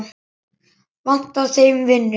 Vantaði þeim vinnu?